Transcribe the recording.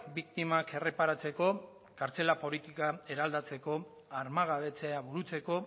biktimak erreparatzeko kartzela politika eraldatzeko armagabetzea burutzeko